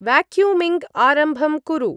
Vacuuming आरम्भं कुरु।